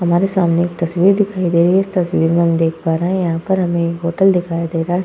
हमारे सामने एक तस्वीर दिखाई दे रही है। इस तस्वीर में हम देख पा रहे हैं। यहाँ पर हमें होटल दिखाई दे रहा है।